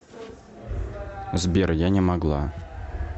сбер я не могла